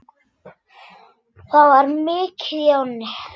Það var mikið í ánni.